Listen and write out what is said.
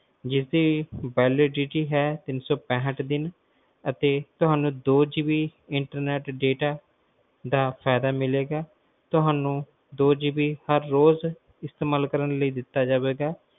ਜਿਸ ਦੀ validity ਹੈ ਤਿੰਨ ਸੌ ਪੈਂਠ ਦਿਨ ਅਤੇ ਤੁਹਾਨੂੰ twoGBInternet ਦਾ ਫਾਇਦਾ ਮਿਲੇਗਾ ਤੁਹਾਨੂੰ twoGBInternet ਰੋਜ਼ ਇਸਤੇਮਾਲ ਕਰਨ ਲਈ ਦਿੱਤਾ ਜਾਵੇਗਾ